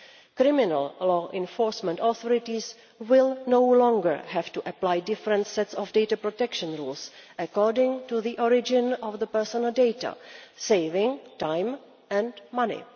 Criminal law enforcement authorities will no longer have to apply different sets of data protection laws according to the origin of the personal data, saving time and money.